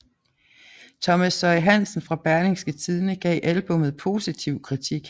Thomas Søie Hansen fra Berlingske Tidende gav albummet positiv kritik